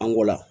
An ko la